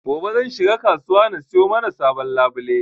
Gobe zan shiga kasuwa na siyo mana sabon labule